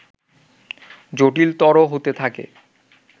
জটিলতর হতে থাকে